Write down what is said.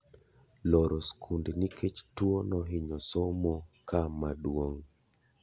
Loro skunde nikech tuo nohinyo somo ka ma duong'